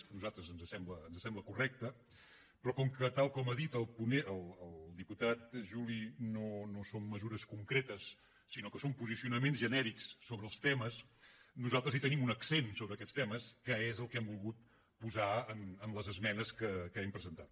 a nosaltres ens sembla correcte però com que tal com ha dit el diputat juli no són mesures concretes sinó que són posicionaments genèrics sobre els temes nosaltres hi tenim un accent sobre aquests temes que és el que hem volgut posar en les esmenes que hem presentat